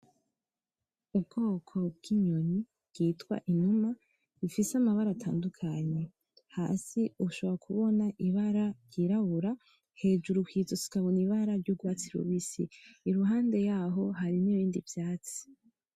Ubwoko bw'inyoni bwitwa inuma ifise amabara atandukanye, hasi ushobora kubona ibara ry'irabura hejuru kwizosi ukabona ibara ry'urwatsi rubisi. Iruhande yaho hari nibindi vyatsi.